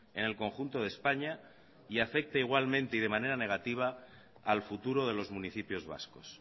en el conjunto de españa y afecteigualmente y de manera negativa al futuro de los municipios vascos